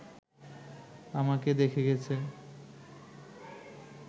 আমাকে দেখা গেছে